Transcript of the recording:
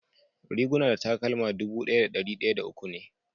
Riguna da takalma dubu daya da dari daya uwu me.